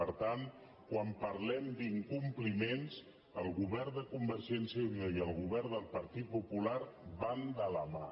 per tant quan parlem d’incompliments el govern de convergència i unió i el govern del partit popular van de la mà